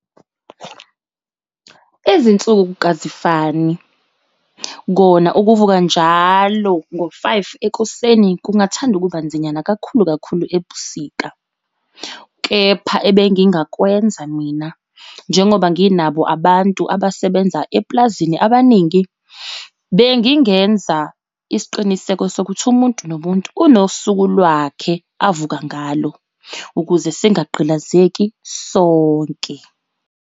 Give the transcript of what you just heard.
Izinsuku azifani kona ukuvuka njalo ngo-five ekuseni kungathanda ukubanzinyana kakhulu kakhulu ebusika. Kepha ebengingakwenza mina njengoba nginabo abantu abasebenza eplazini abaningi, bengingenza isiqiniseko sokuthi umuntu nomuntu unosuku lwakhe avuka ngalo ukuze singagqilazeki sonke.